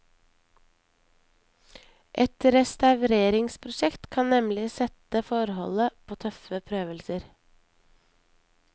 Et restaureringsprosjekt kan nemlig sette forholdet på tøffe prøvelser.